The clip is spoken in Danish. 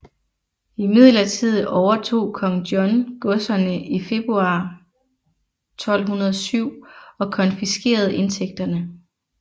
Imidlertid overtog Kong John godserne i februar 1207 og konfiskerede indtægterne